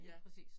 Ja